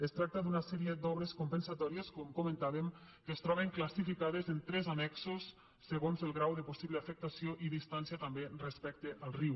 es tracta d’una sèrie d’obres compensatòries com comentàvem que es troben classificades en tres annexos segons el grau de possible afectació i distància també respecte al riu